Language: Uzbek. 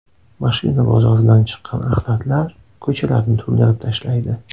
Mashina bozoridan chiqqan axlatlar ko‘chalarni to‘ldirib tashlaydi.